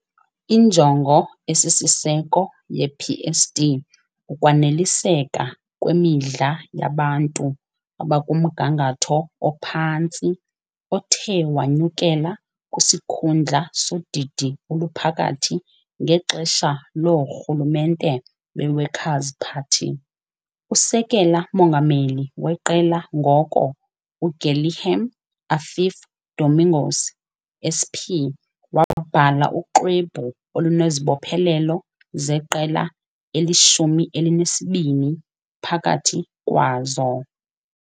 Injongo esisiseko yePSD kukwaneliseka kwemidla yabantu abakumgangatho ophantsi othe wanyukela kwisikhundla sodidi oluphakathi ngexesha loorhulumente beWorkers' Party. Usekela-mongameli weqela ngoko, uGuilherme Affif Domingos, SP, wabhala uxwebhu olunezibophelelo zeqela eli-12, phakathi kwazo.